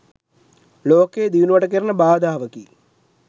ලෝකයේ දියුණුවට කෙරෙන බාධාවකි